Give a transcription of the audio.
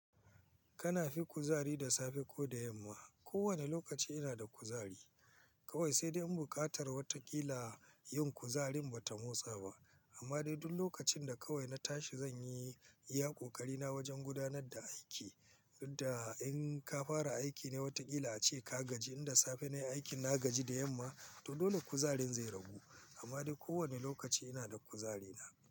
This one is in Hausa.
Kana fi kuzari da safe ko da yamma? Ko wanne lokaci ina da kuzari kawai, sai dai in buƙatar wataƙila yin kuzarin ba ta motsa ba. Amma dai duk lokacin da kawai na tashi zan yi iya kokari na wajen gudanar da aiki. Inda in ka fara aiki ne, watakila ace ka gaji. Inda safe ne aikin na gaji da yamma, to dole kuzarin zai ragu. Amma dai kowane lokaci ina da kuzari na.